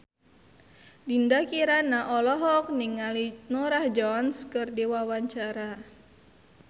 Dinda Kirana olohok ningali Norah Jones keur diwawancara